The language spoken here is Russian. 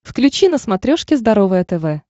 включи на смотрешке здоровое тв